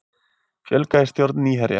Fjölgað í stjórn Nýherja